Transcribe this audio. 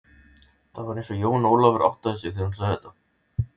Það var eins og Jón Ólafur áttaði sig þegar hún sagði þetta.